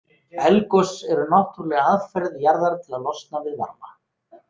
Eldgos eru náttúrleg aðferð jarðar til að losna við varma.